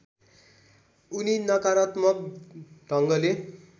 उनी नकारात्मक ढङ्गले